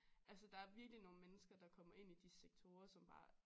Altså der er virkelig nogle mennesker der kommer ind i de sektorer som bare